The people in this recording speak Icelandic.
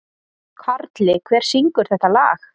Karli, hver syngur þetta lag?